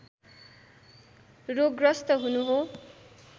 रोगग्रस्त हुनु हो